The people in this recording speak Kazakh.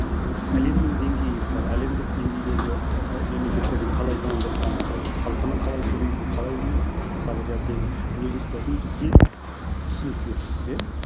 әлемнің деңгейі мысалы әлемдік деңгейдегі ііі мемлекеттердің қалай дамып жатқаны халқының қалай сөйлейтіні қалай мысалы қалай ұстайтыны бізге түсініксіз еді иә